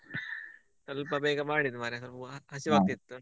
ಸ್ವಲ್ಪ ಬೇಗ ಮಾಡಿದ್ದೂ ಮಾರೆ ಹಸಿವಾಗ್ತಿತ್ತು.